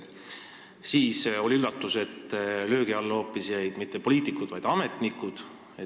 Siis tuli üllatus, löögi alla ei jäänud mitte poliitikud, vaid hoopis ametnikud.